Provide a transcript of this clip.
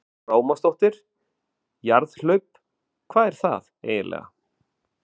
Lára Ómarsdóttir: Jarðhlaup, hvað er það eiginlega?